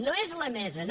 no és la mesa no